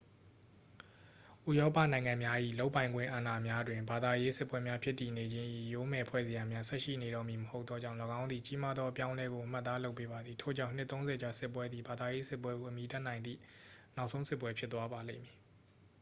ဥရောပနိုင်ငံများ၏ လုပ်ပိုင်ခွင့်အာဏာများတွင် ဘာသာရေးစစ်ပွဲများဖြစ်တည်နေခြင်း၏ ယိုးမယ်ဖွဲ့စရာများ ဆက်ရှိနေတော့မည်မဟုတ်သောကြောင့် ၎င်းသည် အရေးကြီးသောအပြောင်းအလဲကို အမှတ်အသားလုပ်ပေးပါသည် ထို့ကြောင့် နှစ်သုံးဆယ်ကြာစစ်ပွဲသည် ဘာသာရေးစစ်ပွဲဟု အမည်တပ်နိုင်သည့် နောက်ဆုံးစစ်ပွဲ ဖြစ်သွားပါလိမ့်မည်